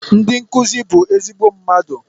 Ndị nkuzi bụ ezigbo mmadụ